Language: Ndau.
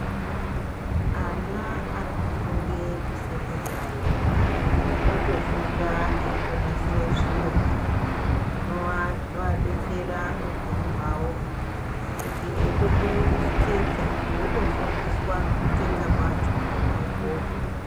Ana arikufunde kusekondari otofunda eitonasira zviro zvinoadetsera muupenyu hwawo kuti eitokone kutsetsa otofunda kutsetsa kwacho kona ikoko.